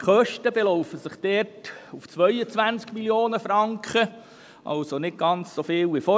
Die Kosten belaufen sich dort auf 22 Mio. Franken, was nicht so viel ist wie vorhin.